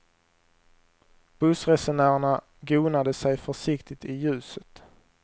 Bussresenärerna gonade sig försiktigt i ljuset.